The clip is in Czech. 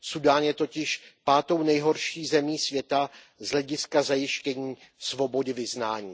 Súdán je totiž pátou nejhorší zemí světa z hlediska zajištění svobody vyznání.